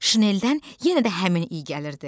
Şineldən yenə də həmin iy gəlirdi.